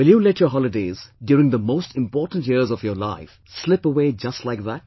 Will you let your holidays during the most important years of your life slip away just like that